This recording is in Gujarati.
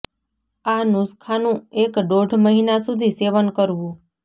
આ નુસખા નું એક દોઢ મહિના સુધી સેવન કરવું